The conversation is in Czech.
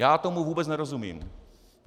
Já tomu vůbec nerozumím.